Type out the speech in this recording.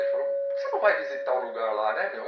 Ele falou, porque você não vai visitar o lugar lá, né, meu?